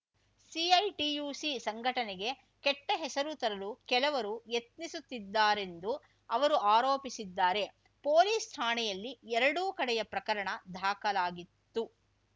CITUC ಸಂಘಟನೆಗೆ ಕೆಟ್ಟಹೆಸರು ತರಲು ಕೆಲವರು ಯತ್ನಿಸುತ್ತಿದ್ದಾರೆಂದು ಅವರು ಆರೋಪಿಸಿದ್ದಾರೆ ಪೊಲೀಸ್‌ ಠಾಣೆಯಲ್ಲಿ ಎರಡೂ ಕಡೆಯ ಪ್ರಕರಣ ದಾಖಲಾಗಿತ್ತು